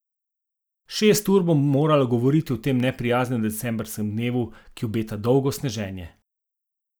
Šest ur bom morala govoriti v tem neprijaznem decembrskem dnevu, ki obeta dolgo sneženje.